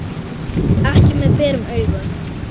Ekki með berum augum.